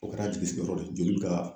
O kɛra a jigi sigiyɔrɔ de ye. Joli be ka